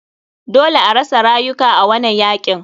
Dole arasa rayuka a wanan yakin.